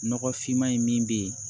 Nɔgɔfinma in min bɛ yen